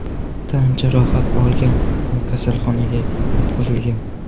tan jarohat olgan va kasalxonaga yotqizilgan.